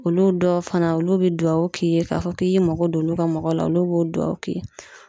Olu dɔ fana olu be duwawu k'i ye k'a fɔ k'i y'i mago don olu ka mɔgɔ la olu b'o duwawu k'i ye